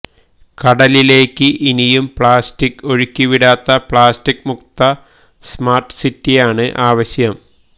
കടലിലേക്ക് ഇനിയും പ്ലാസ്റ്റിക് ഒഴുക്കിവിടാത്ത പ്ലാസ്റ്റിക് മുക്ത സ്മാർട് സിറ്റിയാണ്ആവശ്യം